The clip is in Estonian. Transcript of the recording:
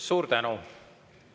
Suur tänu!